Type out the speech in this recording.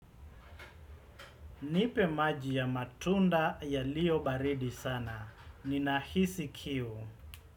Nipe maji ya matunda yalio baridi sana. Ninahisi kiu.